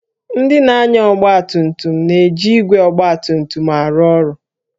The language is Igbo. Ndị na-anya ọgba tum tum na-eji igwe ọgba tum tum arụ ọrụ